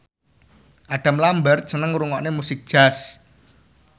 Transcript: Adam Lambert seneng ngrungokne musik jazz